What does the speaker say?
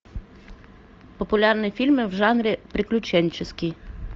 популярные фильмы в жанре приключенческий